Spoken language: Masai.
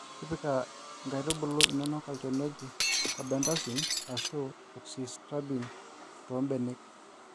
Tipika inkaitubulu inonok ochani oji carbendazim Ashu azoxystrobin too mbenek